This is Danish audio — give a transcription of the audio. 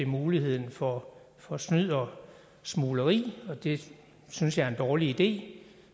muligheden for for snyd og smugleri og det synes jeg er en dårlig idé